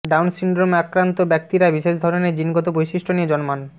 down সিনড্রোমে আক্রান্ত ব্যক্তিরা বিশেষ ধরণের জিনগত বৈশিষ্ট্য নিয়ে জন্মান